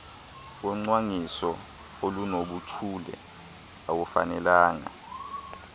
wocwangciso olunobuchule awufanelanga